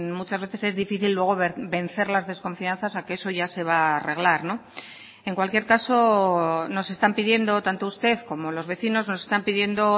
muchas veces es difícil luego vencer las desconfianzas a que eso ya se va a arreglar en cualquier caso nos están pidiendo tanto usted como los vecinos nos están pidiendo